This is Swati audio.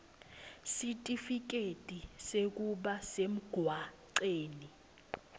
sitifiketi sekuba semgwaceni